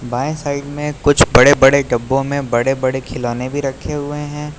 बाएं साइड में कुछ बड़े बड़े डब्बो में बड़े बड़े खिलौने भी रखे हुए हैं।